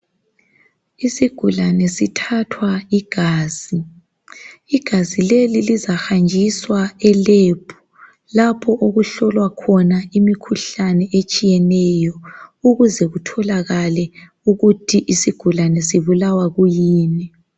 Isigulane sithathwa igazi. Igazi leli lizahanjiswa e"lab" lapho okuhlolwa khona imikhuhlane etshiyeneyo ukuze kutholakale ukuthi isigulane sibulawa kuyini.